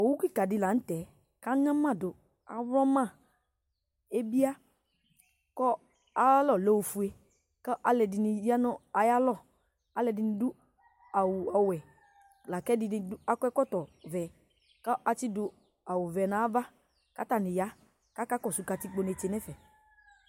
Owu kika di la n'tɛ k'anyamadu awlɔma ebia kɔ aalɔ lɛ ofue, kɔ ɔluɛ dini ya n'aalɔ Alɛdini du awu ɔwɛ la k'ɛdini akɔ ɛkɔtɔ vɛ kɔ ati du awu vɛ n'ava, k'atani ya k'aka kɔsu katikpo netse n'ɛfɛ